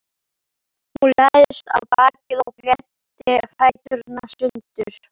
Hún lagðist á bakið og glennti fæturna sundur.